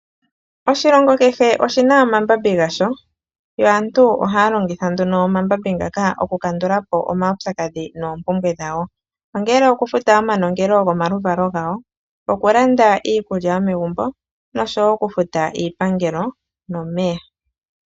Oshilongo kehe oshina omambambi gasho yo aantu ohaya longitha omambambi ngaka okukandulapo omawutsakadhi noompumbwe dhawo okufuta omanongelo gomaluvalo gawo, okulanda iikulya yomegumbo nokufuta iipangelo nomeya.